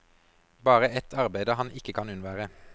Bare et arbeide han ikke kan unnvære.